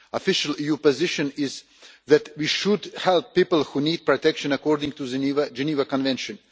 The official EU position is that we should help people who need protection, according to the Geneva Convention.